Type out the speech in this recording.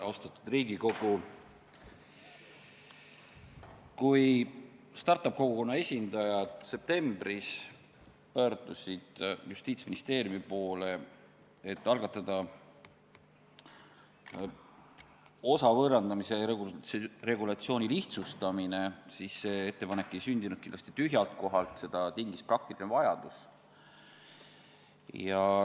Austatud Riigikogu, kui start-up-kogukonna esindajad pöördusid septembris Justiitsministeeriumi poole, et algatada osa võõrandamise regulatsiooni lihtsustamine, siis see ettepanek ei sündinud kindlasti tühjalt kohalt, seda tingis praktiline vajadus.